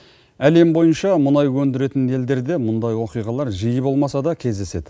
әлем бойынша мұнай өндіретін елдерде мұндай оқиғалар жиі болмаса да кездеседі